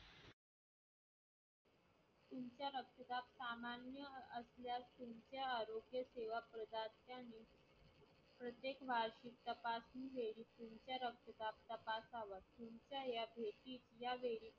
सामान्य असल्यास तुमचा रक्तदाब तपासावा, तुमच्या या भेटीत